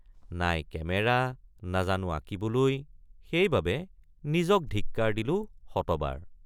নাই কেমেৰা নাজানো আঁকিবলৈ সেইবাবে নিজক ধিক্কাৰ দিলোঁ শতবাৰ।